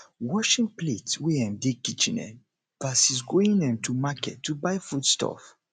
washing plates wey um dey kitchen um vs going um to market to buy food stuff